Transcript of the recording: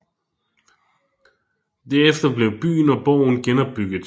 Derefter blev byen og borgen genopbygget